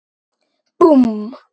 Búmm!